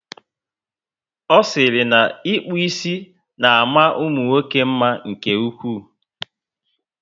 O siri na ịkpụ ísì na ama umunwoke mma nke ụkwụ